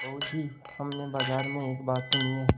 बहू जी हमने बाजार में एक बात सुनी है